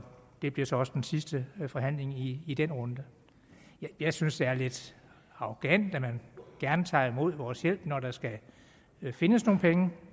det blev så også den sidste forhandling i i den runde jeg synes det er lidt arrogant at man gerne tager imod vores hjælp når der skal findes nogle penge